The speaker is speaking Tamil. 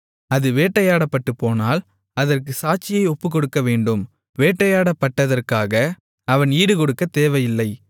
அது வேட்டையாடப்பட்டுப்போனால் அதற்கு சாட்சியை ஒப்புவிக்கவேண்டும் வேட்டையாடப்பட்டதற்காக அவன் ஈடுகொடுக்கத் தேவையில்லை